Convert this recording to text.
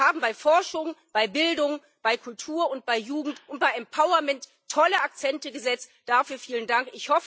Sie haben aber bei Forschung, bei Bildung, bei Kultur, bei Jugend und bei Empowerment tolle Akzente gesetzt dafür vielen Dank.